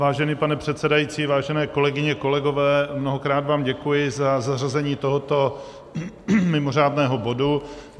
Vážený pane předsedající, vážené kolegyně, kolegové, mnohokrát vám děkuji za zařazení tohoto mimořádného bodu.